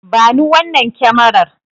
Bani wannan kyamarar.